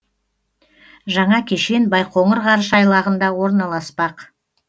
жаңа кешен байқоңыр ғарыш айлағында орналаспақ